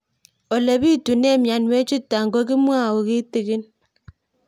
Ole pitune mionwek chutok ko kimwau kitig'ín